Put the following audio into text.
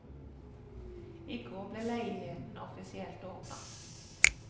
I går ble leiligheten offisielt åpnet.